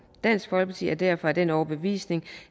dansk folkeparti er derfor af den overbevisning